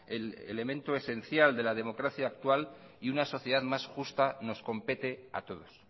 el elemento esencial de la democracia actual y una sociedad más justa nos compete a todos